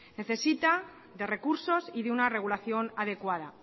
necesita de recursos y de una regulación adecuada